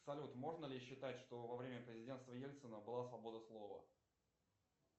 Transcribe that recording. салют можно ли считать что во время президенства ельцина была свобода слова